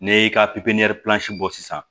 N'i y'i ka pipiniyɛri bɔ sisan